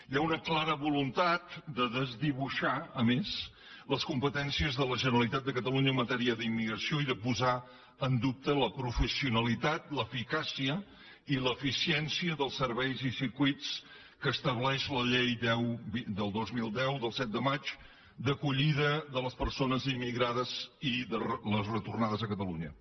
hi ha una clara voluntat de desdibui·xar a més les competències de la generalitat de ca·talunya en matèria d’immigració i de posar en dubte la professionalitat l’eficàcia i l’eficiència dels serveis i circuïts que estableix la llei deu dos mil deu del set de maig d’acollida de les persones immigrades i de les retorna·des a catalunya